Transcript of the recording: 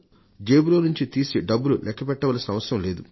జేబులో నుండి డబ్బులు తీసి లెక్కపెట్టనవసరం లేదు